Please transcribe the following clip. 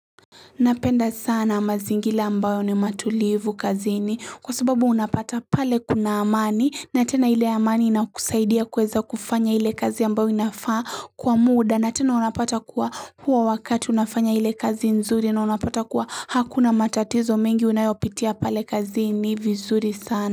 Napenda sana mazingira ambayo ni matulivu kazini kwa sababu unapata pale kuna amani na tena ile amani inakusaidia kuweza kufanya ile kazi ambayo inafaa kwa muda na tena unapata kuwa huwa wakati unafanya hile kazi nzuri na unapata kuwa hakuna matatizo mengi unayopitia pale kazini vizuri sana.